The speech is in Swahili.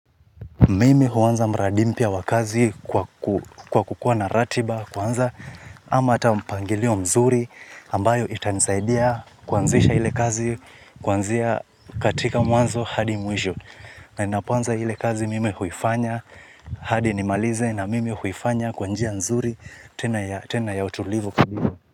Mimi huanza mradi mpya wa kazi kwa kukua na ratiba kwanza ama hata mpangilio mzuri ambayo itanisaidia kuanzisha ile kazi kuanzia katika mwanzo hadi mwisho na ninapoanza ile kazi mimi huifanya hadi nimalize na mimi huifanya kwa njia mzuri tena ya utulivu.